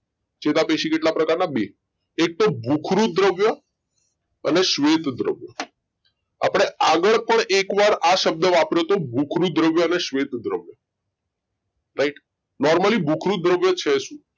ચેતાપેશી કેટલા પ્રકાર ના બે એક તો ભુખરુંદ દ્રવ્ય અને શ્વેત દ્રવ્ય આપડે આગળ પણ એક વાર આ શબ્દ વપરાયો તો ભુખરુંદ દ્રવ્ય અને શ્વેત દ્રવ્ય રાઈટ Normally ભુખરુંદ દ્રવ્ય છે શું?